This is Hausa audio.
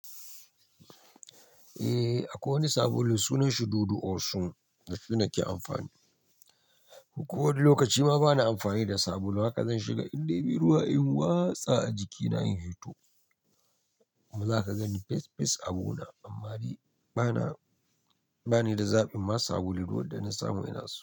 Eh akwai wani sabulu sunan shi Dudu Osun da su nake amfani. Ko wani lokaci ma bana amfani da sabulu haka zan shiga in dai bi ruwa in watsa a jikina in fito. Kuma zaka gan ni pes-pes abu na, amma ni bana, bani da zabin ma sabulu duk wanda na samu ina so.